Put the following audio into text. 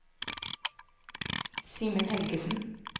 Simen Helgesen